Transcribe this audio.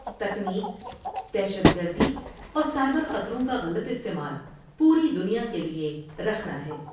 تکنیک ، دہشت گردی اور سائبر خطروں کا غلط استعمال پوری دنیا کے لئے رخنہ ہے ۔